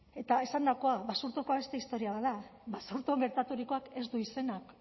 eta esandakoa basurtokoa beste historia bat da basurtun gertaturikoak ez du izenik